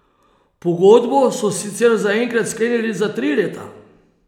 Pogodbo so sicer zaenkrat sklenili za tri leta.